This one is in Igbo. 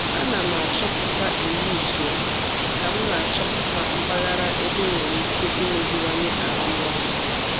A na m asọpụrụ iwu usoro ka m na-achọpụta mpaghara ebe enwere ike imeziwanye arụmọrụ